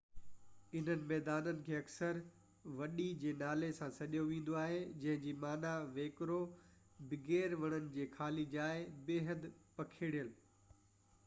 انهن ميدانن کي اڪثر وڊي جي نالي سان سڏيو ويندو آهي جنهن جي معنيٰ ويڪرو، بغير وڻن جي خالي جاءِ، بيحد پکڙيل